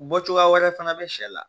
Bɔ cogoya wɛrɛ fana bɛ sɛ la